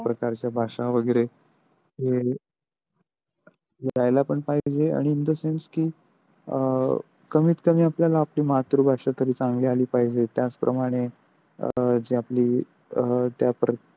त्या प्रकारच्या भाषा वगैरे ह यायला पण पाहिजे आणि in the sense कि अ कमीत कमी आपल्याला मातृभाषा तरी चांगली आली पाहिजे त्याच प्रमाणे अ जे आपली अ.